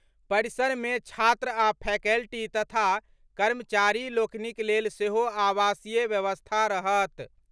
परिसरे मे छात्र आ फैकल्टी तथा कर्मचारी लोकनिक लेल सेहो आवासीय व्यवस्था रहत।